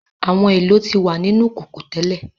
Àwọn èlò ti wa nínu kókó tẹ́lẹ̀.